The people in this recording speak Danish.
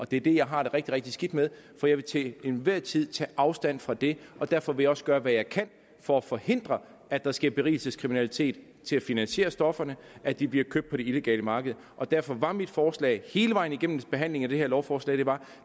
det er det jeg har det rigtig rigtig skidt med for jeg vil til enhver tid tage afstand fra det og derfor vil jeg også gøre hvad jeg kan for at forhindre at der sker berigelseskriminalitet til at finansiere stofferne at de bliver købt på det illegale marked og derfor var mit forslag hele vejen igennem i behandlingen af det her lovforslag